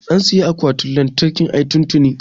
an siyi akwatin lantarkin ai tun tini